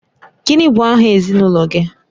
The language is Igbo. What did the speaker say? Gịnị bụ aha ezinụlọ gị?